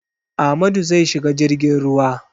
Amadu zai shiga jirgin ruwa.